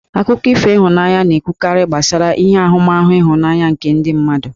Akụkọ ihụnanya na-ekwukarị gbasara ihe ahụmahụ ịhụnanya nke ndị mmadụ.